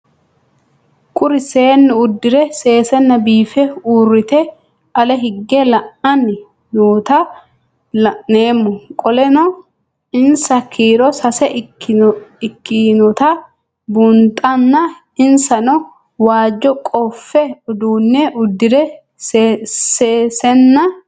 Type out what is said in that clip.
Kuri seenu udire sesena biife urite ale hige la'ani noota la'nemo qoleno insa kiiro sase ikinotana bunxana insano waajo qofe udune udire sesena